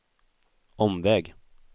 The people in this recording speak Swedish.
omväg